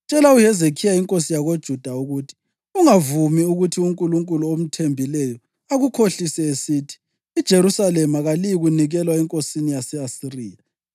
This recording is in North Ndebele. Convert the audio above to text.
“Tshela uHezekhiya inkosi yakoJuda ukuthi: Ungavumi ukuthi unkulunkulu omthembileyo akukhohlise esithi, ‘IJerusalema kaliyikunikelwa enkosini yase-Asiriya.’